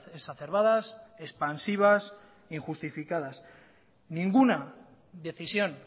exacerbadas expansivas e injustificadas ninguna decisión